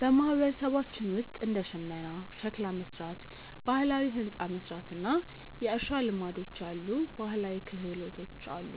በማህበረሰባችን ውስጥ እንደ ሽመና፣ ሸክላ መሥራት፣ ባህላዊ ሕንፃ መሥራት እና የእርሻ ልማዶች ያሉ ባህላዊ ክህሎቶች አሉ።